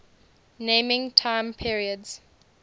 naming time periods